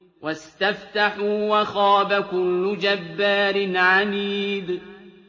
وَاسْتَفْتَحُوا وَخَابَ كُلُّ جَبَّارٍ عَنِيدٍ